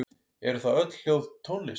Eru þá öll hljóð tónlist?